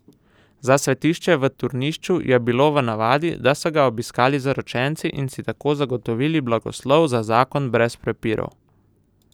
Za svetišče v Turnišču je bilo v navadi, da so ga obiskali zaročenci in si tako zagotovili blagoslov za zakon brez prepirov.